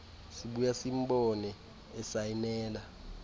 sibuya simbone esayinela